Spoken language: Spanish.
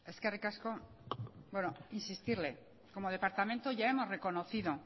eskerrik asko bueno insistirle como departamento ya hemos reconocido